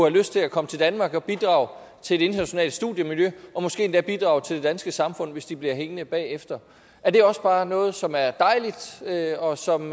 lyst til at komme til danmark og bidrage til det internationale studiemiljø og måske endda bidrage til det danske samfund hvis de bliver hængende bagefter er det også bare noget som er dejligt og som